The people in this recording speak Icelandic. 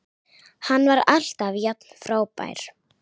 Hann var alltaf jafn frábær.